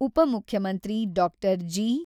ಉಪ ಮುಖ್ಯಮಂತ್ರಿ doctor G.